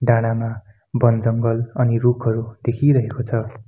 डाँडामा बन जङ्गल अनि रूखहरू देखिरहेको छ।